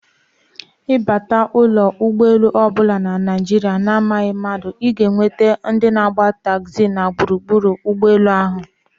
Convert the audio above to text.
Ịbata ụlọ egbolu ọbụla na Naijiria na amaghị mmadụ, ịga enweta ndị na agba taxi na gburugburu ụgbọ elu ahụ